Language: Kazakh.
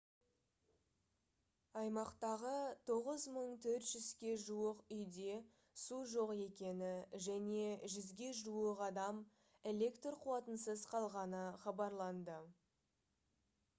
аймақтағы 9400-ге жуық үйде су жоқ екені және 100-ге жуық адам электр қуатынсыз қалғаны хабарланды